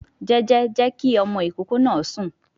Jẹ́jẹ́, jẹ́ kí ọmọ ìkókó náà sùn